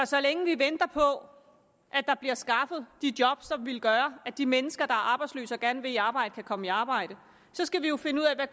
så længe vi venter på at der bliver skaffet de job som vil gøre at de mennesker der er arbejdsløse og gerne vil i arbejde kan komme i arbejde skal vi jo finde ud af